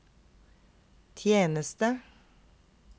tjeneste